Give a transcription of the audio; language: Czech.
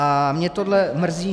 A mě tohleto mrzí.